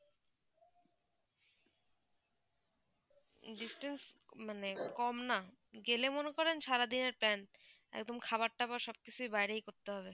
distance মানে কম না গেলে মনে করেন সারা দিনে plan এবং খাবার যাবার সব কিছু বাইরেই করতে হবে